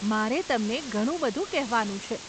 મારે તમને ઘણું બધું કહેવાનું છે.